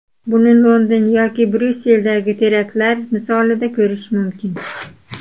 Buni London yoki Bryusseldagi teraktlar misolida ko‘rish mumkin.